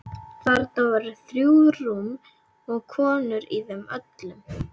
Þarna voru þrjú rúm og konur í þeim öllum.